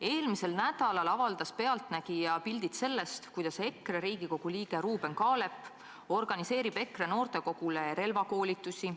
Eelmisel nädalal avaldas "Pealtnägija" pildid sellest, kuidas EKRE fraktsiooni kuuluv Riigikogu liige Ruuben Kaalep organiseerib EKRE noortekogule relvakoolitusi.